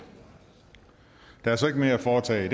der er så ikke mere at foretage i